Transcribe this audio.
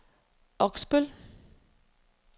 Oksbøl